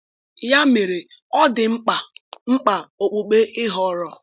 Ya mere, ọ dị mkpa mkpa okpukpe ị họọrọ.